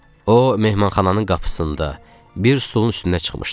O mehmanxananın qapısında bir stulun üstündə çıxmışdı.